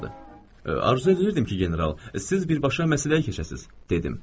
Arzu edirdim ki, general, siz birbaşa məsələyə keçəsiz, dedim.